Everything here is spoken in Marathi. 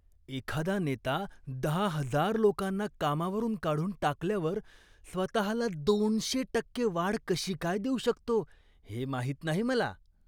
एखादा नेता दहा हजार लोकांना कामावरून काढून टाकल्यावर स्वतःला दोनशे टक्के वाढ कशी काय देऊ शकतो हे माहीत नाही मला.